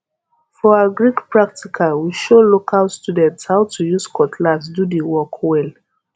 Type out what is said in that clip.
for agric practical we show local students how to use cutlass do the work well